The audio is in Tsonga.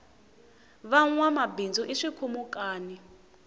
vanwama bindzu i swikhumukani